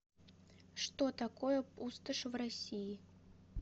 что такое пустошь в россии